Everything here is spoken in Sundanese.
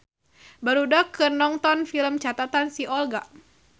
Barudak keur nongton Film Catatan si Olga